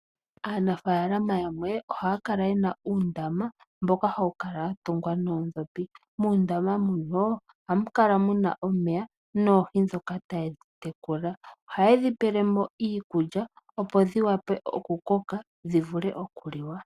Aanafaalama yamwe ohaya kala yena uundama mboka hawu kala watungwa noondhopi. Muundama ohamu kala muna omeya noohi ndhoka taya tekula. Ohayedhi pelemo iikulya opo dhikoke dhivule okuliwa.